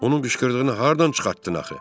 Onun qışqırdığını hardan çıxartdın axı?